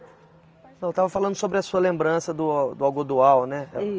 Não, eu estava falando sobre a sua lembrança do a do algodoal, né?